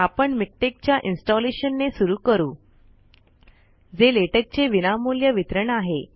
आपण मिक्टेक च्या इन्सटॉंलेशन ने सुरु करू जे लेटेक चे विनामूल्य वितरण आहे